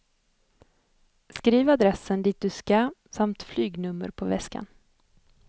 Skriv adressen dit du ska samt flygnummer på väskan.